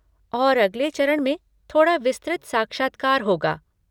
और अगले चरण में थोड़ा विस्तृत साक्षात्कार होगा।